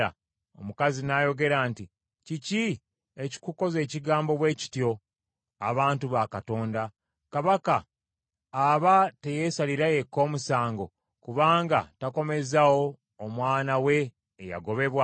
Omukazi n’ayogera nti, “Kiki ekikukoza ekigambo bwe kityo abantu ba Katonda? Kabaka aba teyeesalira yekka omusango kubanga takomezaawo omwana we eyagobebwa?